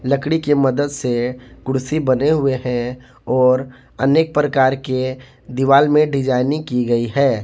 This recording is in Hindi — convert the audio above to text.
लकड़ी के मदद से कुर्सी बने हुए हैं और अनेक प्रकार के दीवाल में डिजाइनिंग की गई है।